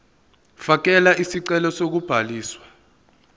fakela isicelo sokubhaliswa